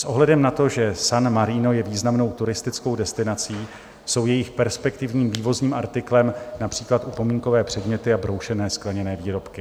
S ohledem na to, že San Marino je významnou turistickou destinací, jsou jejich perspektivním vývozním artiklem například upomínkové předměty a broušené skleněné výrobky.